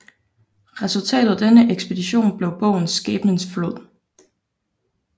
Resultatet af denne ekspedition blev bogen Skæbnens Flod